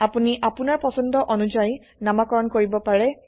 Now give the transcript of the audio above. আপোনি আপোনাৰ পছন্দ অনুযায়ী নামকৰণ কৰিব পাৰে